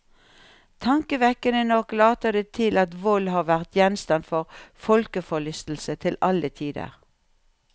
Tankevekkende nok later det til at vold har vært gjenstand for folkeforlystelse til alle tider.